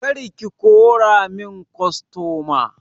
Kar ki kora mun kostoma!